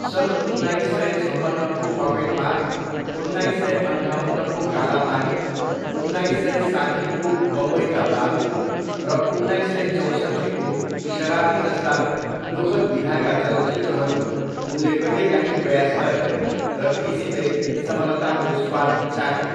सन् उन्नाइस सय छप्पन्नको पकेटमार, उन्नाइस सय अन्ठाउन्नको काला पानी ,उन्नाइस सय साट्ठीको बम्बई का बाबू रउन्नाइस सय चौसट्ठीको शराबी जस्ता दुखद विधाका चलचित्रहरू उनले कहिलेकाहीँ प्रयास गरे र तीसितै सफलताको स्वाद चाखे।